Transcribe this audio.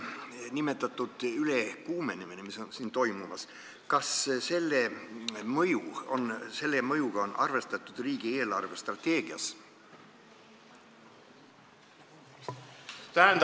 Ma siis küsin, kas praegu toimuva ülekuumenemise mõjuga on riigi eelarvestrateegias arvestatud.